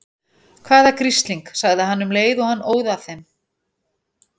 Hvaða grisling. sagði hann um leið og hann óð að þeim.